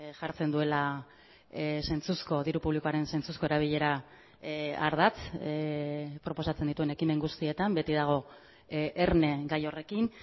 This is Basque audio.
jartzen duela zentzuzko diru publikoaren zentzuzko erabilera ardatz proposatzen dituen ekimen guztietan beti dago erne gai horrekin